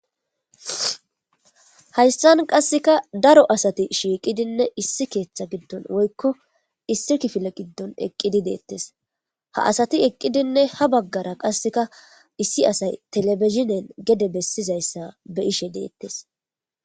Hayssan qasseka daro asati shiiqidinne issi keeththa giddon woykko issi kifile giddon eqqidi deettes ha asati eqqidinne ha baggara qasseka issi asay telebizhinen gede bessizayssa be ishe deettes.